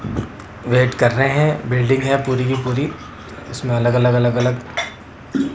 wait कर रहे हैं बिल्डिंग है पूरी की पूरी इसमें अलग अलग अलग अलग--